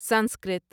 Sanskrit